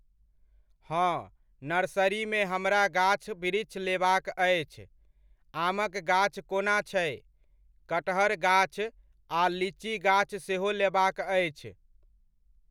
हँ, नर्सरीमे हमरा गाछ वृक्ष लेबाक अछि, आमक गाछ कोना छै? कटहर गाछ आ लीची गाछ सेहो लेबाक अछि।